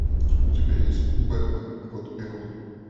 у тебя есть бэтмен год первый